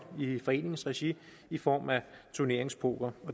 i foreningsregi i form af turneringspoker